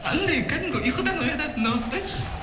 анандай кәдімгі ұйқыдан оятатын дауыс қой